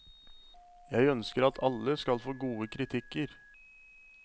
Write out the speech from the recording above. Jeg ønsker at alle skal få gode kritikker.